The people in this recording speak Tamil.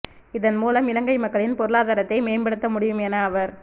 இதன் மூலம் இலங்கை மக்களின் பொருளாதாரத்தை மேம்படுத்த முடியும் என அவர்